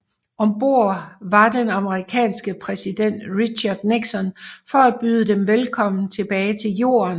Om bord var den amerikanske præsident Richard Nixon for at byde dem velkommen tilbage til Jorden